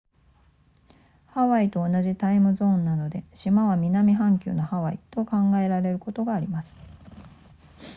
ハワイと同じタイムゾーンなので島は南半球のハワイと考えられることがあります